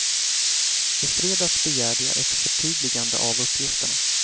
I fredags begärde jag ett förtydligande av uppgifterna.